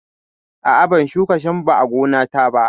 A'a, ban shuka shambo a gonata ba.